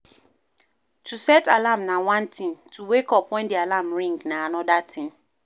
To set alarm na one thing, to wake up when di alarm ring na anoda thing